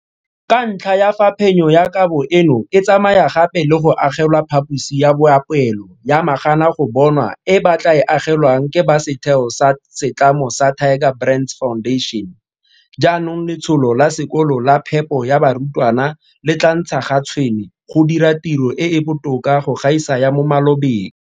Ka ntlha ya fa phenyo ya kabo eno e tsamaya gape le go agelwa phaposi ya boapeelo ya maganagobonwa e ba tla e agelwang ke ba setheo sa setlamo sa Tiger Brands Foundation, jaanong letsholo la sekolo la phepo ya barutwana le tla ntsha ga tshwene go dira tiro e e botoka go gaisa ya mo malobeng.